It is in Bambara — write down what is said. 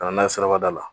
Ka na n'a ye sirabada la